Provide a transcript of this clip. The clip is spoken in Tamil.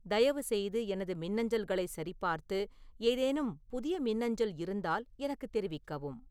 தயவுசெய்து எனது மின்னஞ்சல்களைச் சரிபார்த்து ஏதேனும் புதிய மின்னஞ்சல் இருந்தால் எனக்குத் தெரிவிக்கவும்